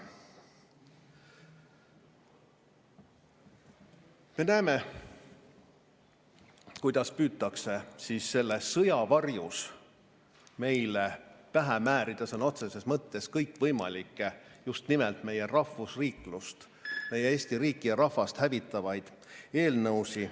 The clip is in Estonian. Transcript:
Me näeme, kuidas püütakse selle sõja varjus meile pähe määrida sõna otseses mõttes kõikvõimalikke, just nimelt meie rahvusriiklust, meie Eesti riiki ja rahvast hävitavaid eelnõusid.